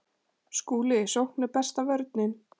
SKÚLI: Sókn er besta vörnin.